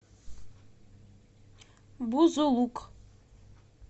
бузулук